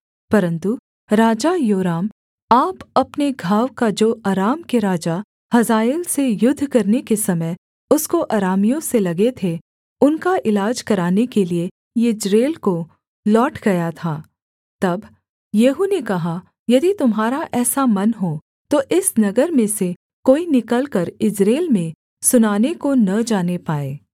परन्तु राजा योराम आप अपने घाव का जो अराम के राजा हजाएल से युद्ध करने के समय उसको अरामियों से लगे थे उनका इलाज कराने के लिये यिज्रेल को लौट गया था तब येहू ने कहा यदि तुम्हारा ऐसा मन हो तो इस नगर में से कोई निकलकर यिज्रेल में सुनाने को न जाने पाए